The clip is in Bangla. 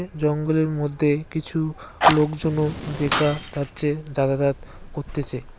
জঙ্গলের মধ্যে কিছু লোকজনও দেখা যাচ্ছে যাতাযাত করতেছে।